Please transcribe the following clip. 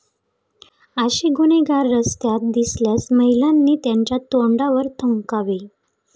असे गुन्हेगार रस्त्यात दिसल्यास महिलांनी त्यांच्या तोंडावर थुंकावे.